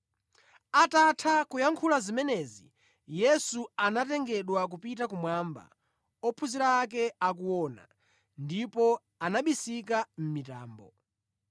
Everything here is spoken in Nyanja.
Atatha kuyankhula zimenezi, Yesu anatengedwa kupita kumwamba ophunzira ake akuona, ndipo anabisika mʼmitambo.